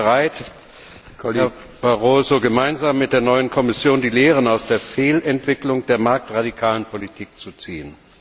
Sind Sie bereit, Herr Barroso, gemeinsam mit der neuen Kommission die Lehren aus der Fehlentwicklung der marktradikalen Politik zu ziehen?